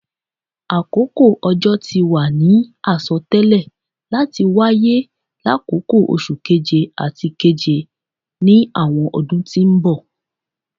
Akoko ojo ti wa ni asọtẹlẹ lati waye lakoko Oṣu Keje ati Keje ni awọn ọdun ti n bọ